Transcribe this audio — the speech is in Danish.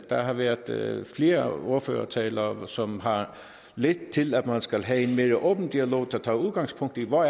der har været flere flere ordførertaler som har ledt til at man skal have en mere åben dialog der tager udgangspunkt i hvor